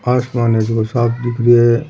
आसमान एकदम साफ दिख रो है।